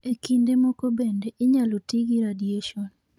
E kinde moko bende, inyalo ti gi radiation.